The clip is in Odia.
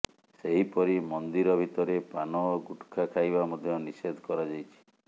ସେହିପରି ମନ୍ଦିର ଭିତରେ ପାନ ଓ ଗୁଟଖା ଖାଇବା ମଧ୍ୟ ନିଷେଧ କରାଯାଇଛି